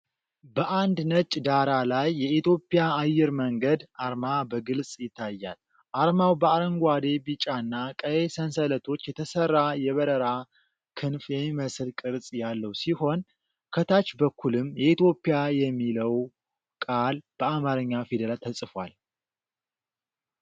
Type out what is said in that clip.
በአንድ ነጭ ዳራ ላይ የኢትዮጵያ አየር መንገድ አርማ በግልጽ ይታያል። አርማው በአረንጓዴ፣ ቢጫና ቀይ ሰንሰለቶች የተሠራ የበረራ ክንፍ የሚመስል ቅርጽ ያለው ሲሆን፤ ከታች በኩልም “የኢትዮጵያ” የሚለው ቃል በአማርኛ ፊደላት ተጽፏል።